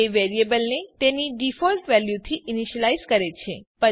તે વેરિયેબલને તેની ડિફોલ્ટ વેલ્યુથી ઈનીશ્યલાઈઝ કરે છે